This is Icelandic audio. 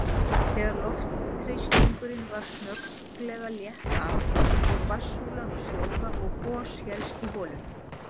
Þegar loftþrýstingnum var snögglega létt af fór vatnssúlan að sjóða og gos hélst í holunni.